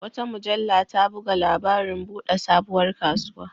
Wata mujalla ta buga labarin buɗe sabuwar kasuwa.